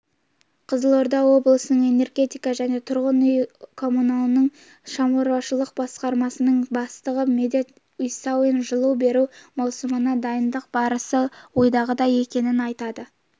қызылорда облысының энергетика және тұрғын үй-коммуналдық шаруашылық басқармасының бастығы медет усаин жылу беру маусымына дайындық барысы ойдағыдай екенін айтады